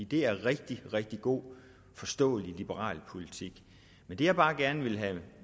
det er rigtig rigtig god og forståelig liberal politik men det jeg bare gerne vil have